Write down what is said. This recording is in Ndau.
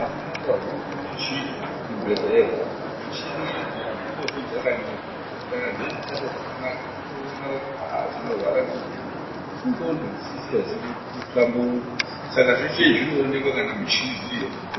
asi n'anga huru micheni dzekuchibhedhlera. Michini idzi hadzimbofi dzakanyepa ngekuti kanadzeitoshande zvakanaka, dzinoona kuti chinorwara muntu indxondo dzisikazi kuhlamburuka, sakazvese izvi zvinoonekwa kana mishini iriyo kuzvibhedhlera.